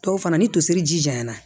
Tɔw fana ni tosiri ji janyana